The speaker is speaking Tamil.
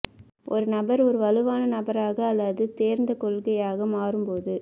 ஒரு நபர் ஒரு வலுவான நபராக அல்லது தேர்ந்த கொள்கையாக மாறும்போது